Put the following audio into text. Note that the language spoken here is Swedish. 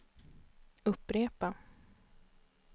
upprepa